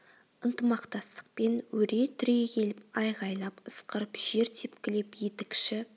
ынтымақтастықпен өре түрегеліп айғайлап ысқырып жер тепкілеп етікші